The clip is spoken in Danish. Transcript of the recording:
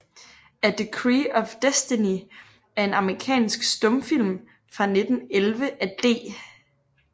A Decree of Destiny er en amerikansk stumfilm fra 1911 af D